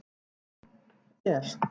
. jú. er.